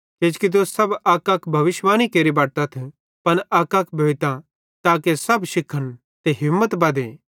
किजोकि तुस सब अकअक भविष्यिवाणी केरि बटतथ पन अकअक भोइतां ताके सब शिखन ते हिम्मत बद्धे